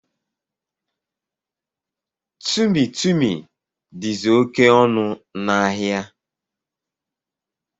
Tumi Tumi dizi oké ọnụ na áhiá.